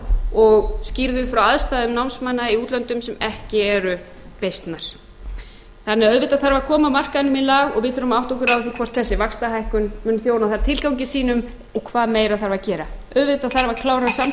og skýrðu frá aðstæðum námsmanna í útlöndum sem ekki eru beysnar þannig að auðvitað þarf að koma markaðnum í lag og við þurfum að átta okkur á því hvort þessi vaxtahækkun muni þjóna þeim tilgangi sínum og hvað meira þarf að gera auðvitað þarf að klára samkomulagið við breta